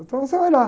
Então você vai lá.